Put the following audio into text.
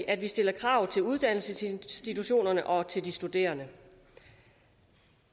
at vi stiller krav til uddannelsesinstitutionerne og til de studerende